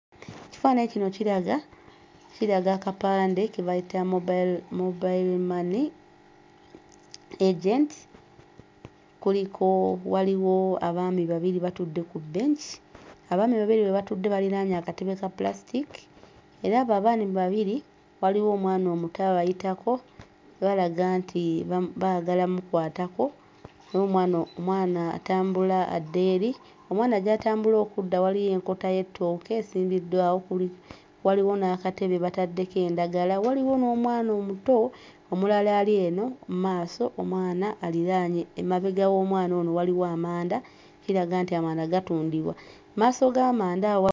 Ekifaananyi kino kiraga kiraga akapande ke bayita Mobile Mobile Money agent kuliko waliwo abaami babiri batudde ku bench abaami babiri be batudde baliraanye akatebe ka plastic era abo abaami babiri waliwo omwana omuto abayitako balaga nti bamu baagala mmukwatako omwano mwana atambula adda eri. Omwana gy'atambula okudda waliyo enkota y'ettooke esimbiddwawo kuli waliwo n'akatebe bataddeko endagala waliwo n'omwana omuto omulala ali eno mmaaso omwala aliraanye emabega w'omwana ono waliwo amanda kiraga nti amanda gatundibwa. Mmaaso g'amanda awo.